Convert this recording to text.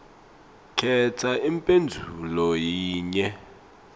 khetsa imphendvulo yinye